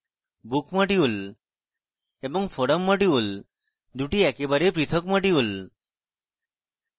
book module এবং forum module দুটি একেবারে পৃথক module